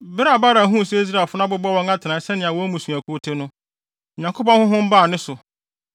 Bere a Balaam huu sɛ Israelfo no abobɔ wɔn atenae sɛnea wɔn mmusuakuw te no, Onyankopɔn honhom baa ne so,